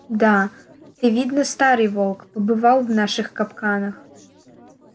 да ты видно старый волк побывал в наших капканах